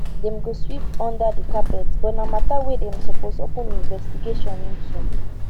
dem go sweep under di carpet but na mata wey dem suppose open investigation into